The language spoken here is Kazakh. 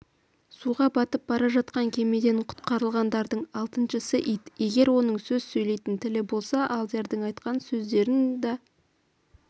суға батып бара жатқан кемеден құтқарылғандардың алтыншысы ит егер оның сөз сөйлейтін тілі болса алдиярның айтқан сөздерін да